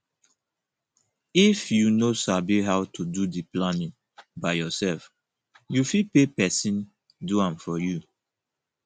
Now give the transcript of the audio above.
if you no sabi how to do di planning by yourself you fit pay persin do am for you